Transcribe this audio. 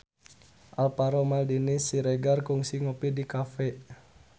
Alvaro Maldini Siregar kungsi ngopi di cafe